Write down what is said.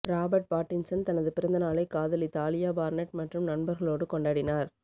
Robert Pattinson தனது பிறந்தநாளை காதலி தாலியா பார்னெட் மற்றும் நண்பர்களோடு கொண்டாடினார்